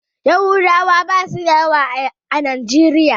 Yahudawa basu da yawa a najeriya.